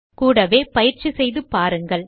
கூடவே பயிற்சி செய்து பாருங்கள்